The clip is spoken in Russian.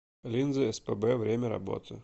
линзыэспэбэ время работы